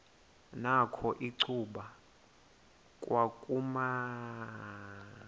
nakho icuba kwakumnyama